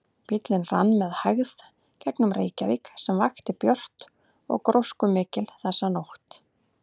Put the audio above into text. Bíllinn rann með hægð gegnum Reykjavík sem vakti björt og gróskumikil þessa nótt.